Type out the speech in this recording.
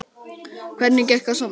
Lillý: Hvernig gekk að safna?